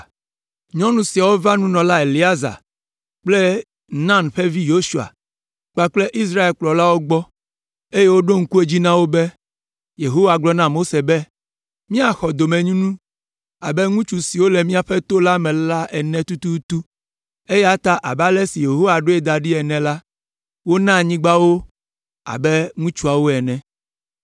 Nyɔnu siawo va nunɔla Eleazar kple Nun ƒe vi Yosua kpakple Israel ƒe kplɔlawo gbɔ, eye woɖo ŋku edzi na wo be, “Yehowa gblɔ na Mose be míaxɔ domenyinu abe ŋutsu siwo le míaƒe to la me ene tututu,” eya ta abe ale si Yehowa ɖoe da ɖi ene la, wona anyigba wo abe ŋutsuawo ene.